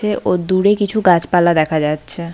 কে ও দূরে কিছু গাছপালার দেখা যাচ্ছে।